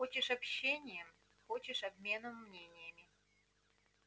хочешь общением хочешь обменом мнениями